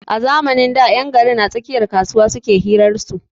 A zamanin da 'yan garin a tsakiyar kasuwa suke hiran su.